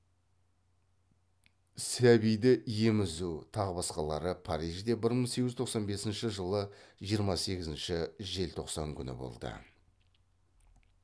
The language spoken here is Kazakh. сәбиді емізу тағы басқалары парижде бір мың сегіз жүз тоқсан бесінші жылы жиырма сегізінші желтоқсан күні болды